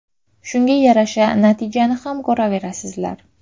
Shunga yarasha natijani ham ko‘raverasizlar.